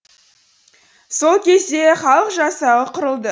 сол кезде халық жасағы құрылды